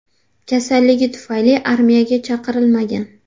Kasalligi tufayli armiyaga chaqirilmagan.